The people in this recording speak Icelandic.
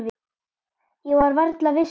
Ég var varla viss sjálf.